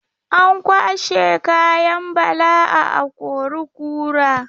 An kwashai kayan Bala a akori-kura.